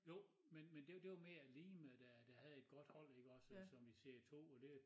Jo men men det det var mere Lihme der der havde et godt hold iggås som i serie 2 og det